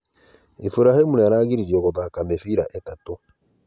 Iburahĩmũ nĩaragĩririo gũthaka mĩbĩra ĩtatũ